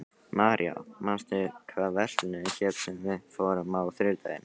Marja, manstu hvað verslunin hét sem við fórum í á þriðjudaginn?